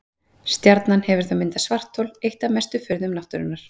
Stjarnan hefur þá myndað svarthol, eitt af mestu furðum náttúrunnar.